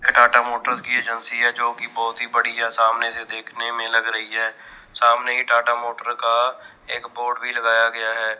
Tata motors की एजेंसी है जोकि बहोत ही बड़ी है सामने से देखने में लग रही है सामने ही टाटा मोटर का एक बोर्ड भी लगाया गया है।